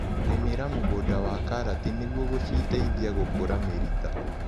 Rĩmĩra mũgunda wa karati nĩguo gũciteithia gũkũra mĩrita.